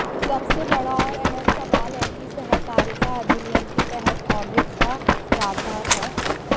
सबसे बड़ा और अहम सवाल है कि सहकारिता अधिनियम के तहत ऑडिट का प्रावधान है